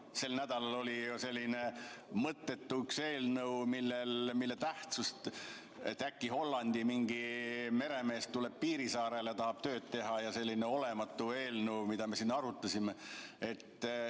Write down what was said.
Sel nädalal oli ju üks selline mõttetu eelnõu, et äkki mingi Hollandi meremees tuleb Piirissaarele ja tahab tööd teha – selline olematu eelnõu, mida me siin arutasime.